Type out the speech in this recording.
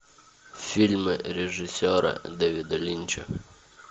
фильмы режиссера дэвида линча